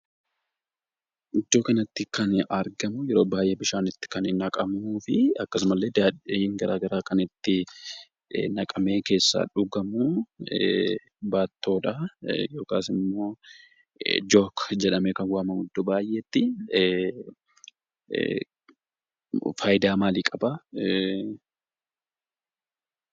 Iddoo kanatti kan argamu yeroo baay'ee kan bishaan ittti naqamuufi akkasumallee, daadhiin gara garaa kan itti naqamee : keessaa dhugamu, baattoo yookaas ammo "jook" jedhamee kan waamamu iddo baay'eetti. Faayidaa maalii qaba?